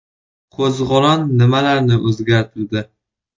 Qo‘zg‘olon nimalarni o‘zgartirdi?